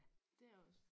Det er også